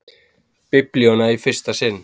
Biblíuna í fyrsta sinn.